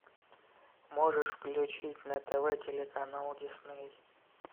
можешь включить на тв телеканал дисней